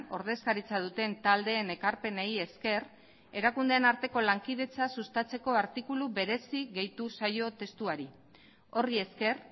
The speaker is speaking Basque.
ordezkaritza duten taldeen ekarpenei esker erakundeen arteko lankidetza sustatzeko artikulu berezi gehitu zaio testuari horri esker